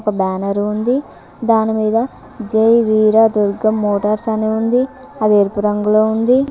ఒక బానర్ ఉంది దానిమీద జై వీర దుర్గ మోటార్స్ అని ఉంది అది ఎరుపు రంగులో ఉంది.